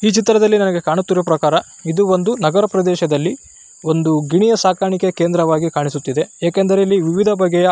ಈ ಚಿತ್ರದಲ್ಲಿ ನಮಗೆ ಕಾಣುತ್ತಿರುವ ಪ್ರಕಾರ ಇದು ಒಂದು ನಗರ ಪ್ರದೇಶದಲ್ಲಿ ಒಂದು ಗಿಣಿಯ ಸಾಕಾಣಿಕೆ ಕೇಂದ್ರ ವಾಗಿ ಕಾಣಿಸುತ್ತಿದೆ ಏಕೆಂದರೆ ಇಲ್ಲಿ ವಿವಿಧ ಬಗೆಯ --